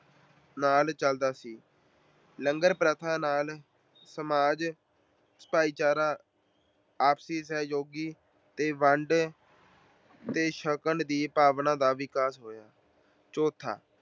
ਨਾਲ ਚੱਲਦਾ ਸੀ। ਲੰਗਰ ਪ੍ਰਥਾ ਨਾਲ ਸਮਾਜ, ਭਾਈਚਾਰਾ, ਆਪਸੀ ਸਹਿਯੋਗੀ ਤੇ ਵੰਡ ਕੇ ਛੱਕਣ ਦੀ ਭਾਵਨਾ ਦਾ ਵਿਕਾਸ ਹੋਇਆ। ਚੌਥਾ